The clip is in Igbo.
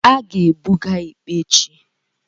a ga-ebuga ikpe echi